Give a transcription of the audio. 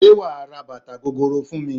Ṣé wà á ra bàtà gogoro fún mi?